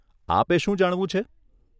આપે શું જાણવું છે?